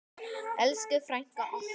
Elsku frænka okkar.